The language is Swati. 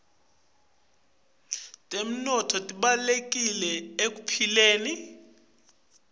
temnotfo tibalulekile ekuphileni